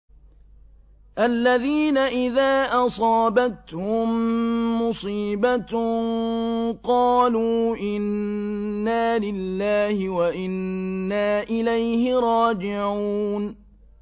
الَّذِينَ إِذَا أَصَابَتْهُم مُّصِيبَةٌ قَالُوا إِنَّا لِلَّهِ وَإِنَّا إِلَيْهِ رَاجِعُونَ